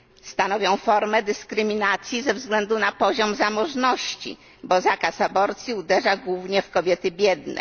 Stanowią formę dyskryminacji ze względu na poziom zamożności, bo zakaz aborcji uderza głównie w kobiety biedne.